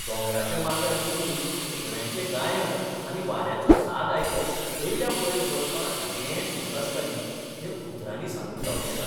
दोंगराच्या माथ्यार बसून सुकण्यांचें गायन आनी वाऱ्याचो साद आयकत दर्या पळयत बसपांत जें सूख आसता न्ही, तें उतरांनी सांगूंक जावचें ना.